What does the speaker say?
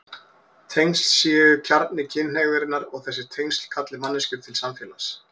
Tengsl séu kjarni kynhneigðarinnar og þessi tengsl kalli manneskjur til samfélags.